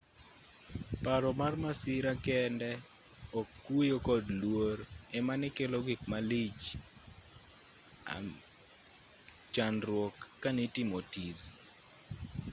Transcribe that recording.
paro mar masira kende ok kuyo kod luor emanekelo gik malich amg chandruok kanitimo tizi